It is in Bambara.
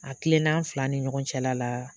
A kilennan an fila ni ɲɔgɔn cɛla la